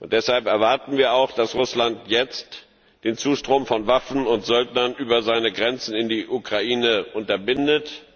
Deshalb erwarten wir auch, dass Russland jetzt den Zustrom von Waffen und Söldnern über seine Grenzen in die Ukraine unterbindet.